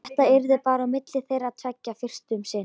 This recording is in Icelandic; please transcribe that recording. Þetta yrði bara á milli þeirra tveggja fyrst um sinn.